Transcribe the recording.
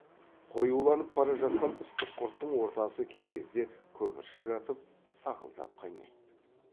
қоюланып бара жатқан ыстық құрттың ортасы кей кезде көпіршік атып сақылдап қайнайды